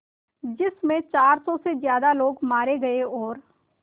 जिस में चार सौ से ज़्यादा लोग मारे गए और